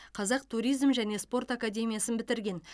қазақ туризм және спорт академиясын бітірген